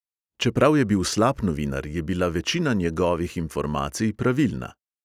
Čeprav je bil slab novinar, je bila večina njegovih informacij pravilna.